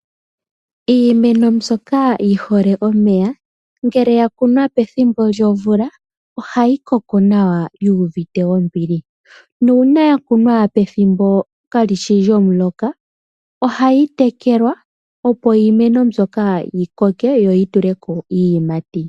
Iimeno mbyoka yihole omeya ngele yakunwa pethimbo lyomvula, ohayi koko nawa yuuvite ombili. Uuna yakunwa pethimbo kalishi lyomuloka ohayi tekelwa opo iimeno mbyoka yokoke yoyituleko iiyimati.